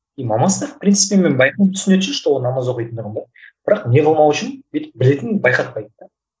и мамасы да в принципе мен байқаймын түсінеді что ол намаз оқитындығын да бірақ не қылмау үшін бүйтіп білетінін байқатпайды да